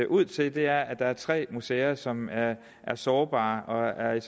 ud til at der er tre museer som er sårbare og er